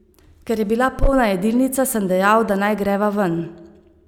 Ker je bila polna jedilnica, sem dejal, da naj greva ven.